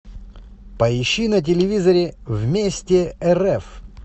поищи на телевизоре вместе рф